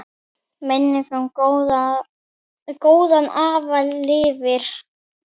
Minning um góðan afa lifir.